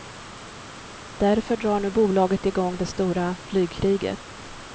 Därför drar nu bolaget igång det stora flygkriget.